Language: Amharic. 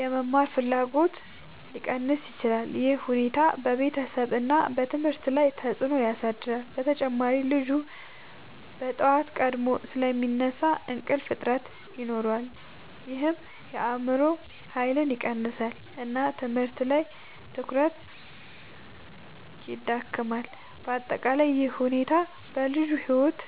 የመማር ፍላጎትን ሊቀንስ ይችላል። ይህ ሁኔታ በቤተሰብ እና ትምህርት ላይ ተጽዕኖ ያሳድራል። በተጨማሪ ልጁ በጠዋት ቀድሞ ስለሚነሳ እንቅልፍ እጥረት ይኖራል ይህም የአእምሮ ኃይልን ይቀንሳል እና ትምህርት ላይ ትኩረት ይዳክማል። በአጠቃላይ ይህ ሁኔታ በልጁ ሕይወት